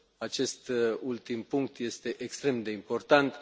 Acest ultim punct este extrem de important.